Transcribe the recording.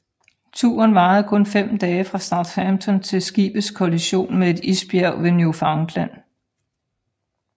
Turen varede kun 5 dage fra Southampton til skibets kollision med et isbjerg ved Newfoundland